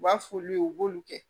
U b'a f'olu ye u b'olu kɛ